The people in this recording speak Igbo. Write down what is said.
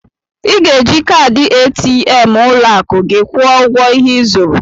I ga-eji kaadị ATM ụlọakụ gị kwụọ ụgwọ ihe ị zụrụ